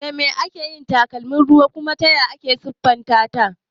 Da me ake yin takalmin ruwa kuma taya ake siffanta ta?